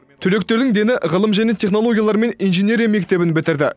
түлектердің дені ғылым және технологиялар мен инженерия мектебін бітірді